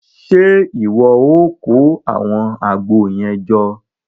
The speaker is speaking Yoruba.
Ṣe iwọ o kó awọn Àgbo yẹn jọ?